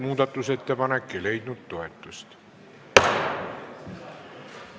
Muudatusettepanek ei leidnud toetust.